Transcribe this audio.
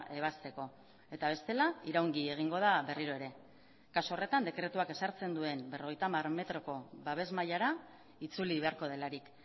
ebazteko eta bestela iraungi egingo da berriro ere kasu horretan dekretuak ezartzen duen berrogeita hamar metroko babes mailara itzuli beharko delarik